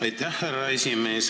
Aitäh, härra esimees!